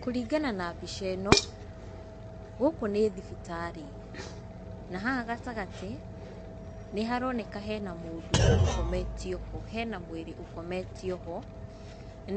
Kũringana na mbica ĩno, gũkũ nĩ thibitarĩ, na haha gatagatĩ, nĩ haroneka hena mũndũ ũkometio ho, hena mwĩrĩ ũkometio ho,